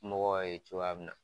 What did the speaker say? Mɔgɔw ye cogoya mun na.